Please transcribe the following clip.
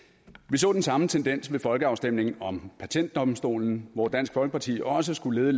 så den samme tendens ved folkeafstemningen om patentdomstolen hvor dansk folkeparti også skulle